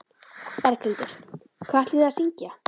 Berghildur: Hvað ætlið þið að syngja?